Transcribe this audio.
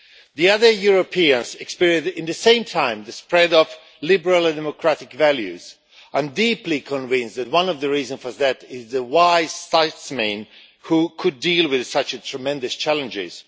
The other Europeans experienced, in the same time, the spread of liberal and democratic values. I am deeply convinced that one of the reasons for that is the wise statesmen who could deal with such tremendous challenges.